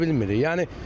Yol sürə bilmirik.